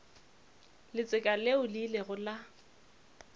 letseka leo le ilego la